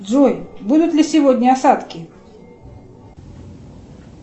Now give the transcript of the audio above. джой будут ли сегодня осадки